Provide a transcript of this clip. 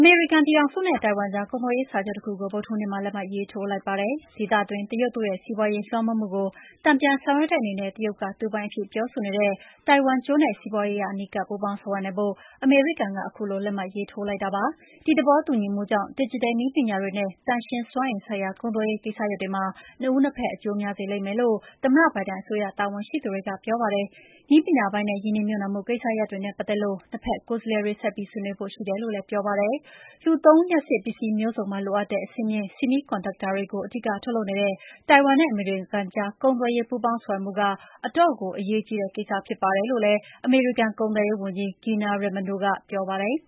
ေမေရိကန်ပြည်ထောင်စုနဲ တိုင်ဝမ်ကြား ကုန်သွယ်ရေးစာချုပ်တခုကို ဗုဒ္ဓဟူးနေ့မှာ လက်မှတ်ရေးထိုးလိုက်ပါတယ်။ ဒေသတွင်း တရုတ်တို့ရဲ့စီးပွါးရေးလွှမ်းမိုးကို တန်ပြန်ဆောင်ရွက်တဲ့အနေနဲ့ တရုတ်က သူပိုင်အဖြစ်ပြောဆိုနေတဲ့ တိုင်ဝမ်ကျွန်းနဲ့ စီးပွါးရေးအရအနီးကပ်ပူးပေါင်း ဆောင်ရွက်နိုင်ဖို့ အမေရိကန်က ခုလို လက်မှတ်ထိုးလိုက်တာပါ။ ဒီသဘောတူ ညီမှုကြောင့် ဒစ်ဂျစ်တယ်နည်းပညာတွေနဲ့ သန့်ရှင်းစွမ်းအင်ဆိုင်ရာ ကုန်သွယ်ရေး ကိစ္စရပ်တွေမှာ နှစ်ဦးနှစ်ဖက် အကျိုးများစေလိမ့်မယ်လို့ သမ္မတဘိုင်ဒန်အစိုးရ တာဝန်ရှိသူတွေက ပြောပါတယ်။ နည်းပညာပိုင်းနဲ့ ရင်းနှီးမြှပ်နှံမှုကိစ္စရပ်တွေနဲ့ ပတ်သက်လို့ နှစ်ဖက်ကိုယ်စားလှယ်တွေ ဆက်ပြီးဆွေးနွေးဖို့ရှိတယ်လို့လည်း ပြောပါတယ်။ လူသုံးလ ျှပ်စစ်ပစ္စည်းမျိုးစုံမှာ လိုအပ်တဲ့ အဆင့်မြင့် semiconductor တွေကို အဓိကထုတ်လုပ်နေတဲ့ တိုင်ဝမ်နဲ့ အမေရိကန်ကြား ကုန်သွယ်ရေး ပူးပေါင်းဆောင်ရွက်မှုက အတော့်ကို အရေးကြီးတဲ့ကိစ္စ ဖြစ်ပါတယ်လို့ အမေရိကန် ကုန်သွယ်ရေးဝန်ကြီး Gina Raimondo က ပြောပါတယ်